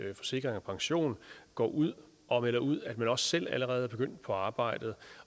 at forsikring pension går ud og melder ud at man også selv allerede er begyndt på arbejdet